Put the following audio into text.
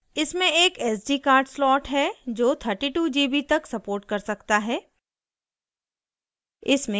इसमें एक sd card slot है जो 32gb तक support कर सकता है